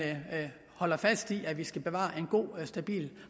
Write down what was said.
holder fast i at vi skal bevare en god og stabil